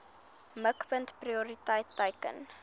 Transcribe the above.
mikpunt prioriteit teiken